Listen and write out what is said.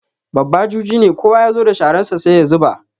Babba juji ne, kowa ya zo da shararsa sai ya zuba.